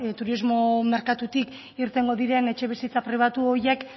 turismo merkatutik irtengo diren etxebizitza pribatu horiek